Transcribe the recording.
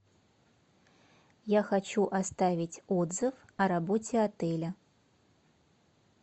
я хочу оставить отзыв о работе отеля